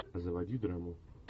заводи драму